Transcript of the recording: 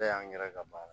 Bɛɛ y'an yɛrɛ ka baara ye